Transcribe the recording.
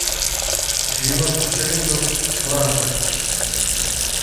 девяносто шиллингов в франках